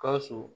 Gawusu